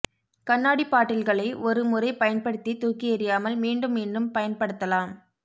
கண்ணாடி பாட்டில்களை ஒரு முறை பயன்படுத்தி தூக்கி எறியாமல் மீண்டும் மீண்டும் பயன்படுத்தலாம்